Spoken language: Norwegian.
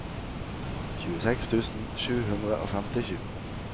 tjueseks tusen sju hundre og femtisju